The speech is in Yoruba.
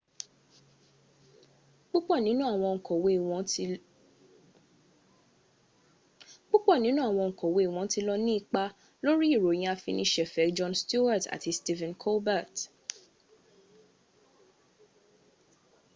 púpọ̀ nínú àwọn oǹkọ̀wé wọn ti lọ ní ipa lórí ìròyìn ìfiniṣẹ̀fẹ̀ jon stewart àti stephen colbert